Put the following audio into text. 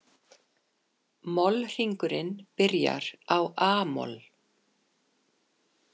Mollhringurinn byrjar á a-moll.